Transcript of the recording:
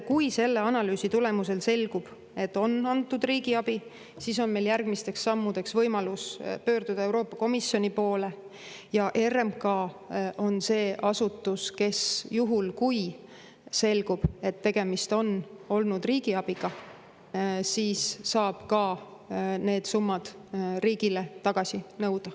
Kui selle analüüsi tulemusel selgub, et on antud riigiabi, siis on meil järgmisteks sammudeks võimalus pöörduda Euroopa Komisjoni poole ja RMK on see asutus, kes, juhul kui selgub, et tegemist on olnud riigiabiga, saab ka need summad riigile tagasi nõuda.